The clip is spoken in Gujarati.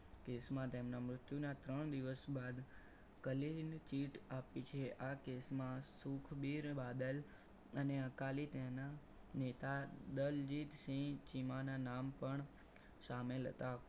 Case માં તેમના મૃત્યુના ત્રણ દિવસ બાદ clean chit આપી છે આ case માં સુખબીર બાદલ અને અકાલી તેના નેતા દલજીતસિંહ ચીમાના નામ પણ સામેલ હતા.